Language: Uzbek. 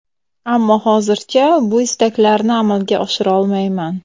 Ammo hozircha bu istaklarini amalga oshirolmayman.